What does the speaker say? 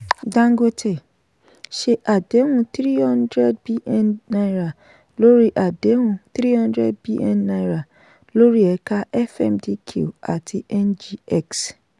dangote ṣe àdéhùn three hundred bn naira lórí àdéhùn three hundred bn naira lórí ẹ̀ka fmdq àti ngx